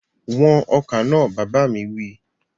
Wọn ọkà náà! Bàbá mi wí.